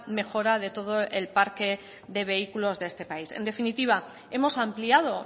mejora de todo el parque de vehículos de este país en definitiva hemos ampliado